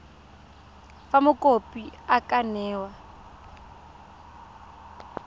fa mokopi a ka newa